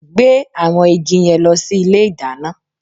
Gbé àwọn igi yẹn lọ sí ilé ìdáná!